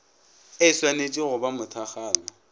e šwanetše go ba mothakgalo